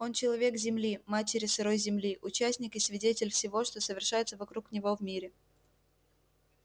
он человек земли матери сырой земли участник и свидетель всего что совершается вокруг него в мире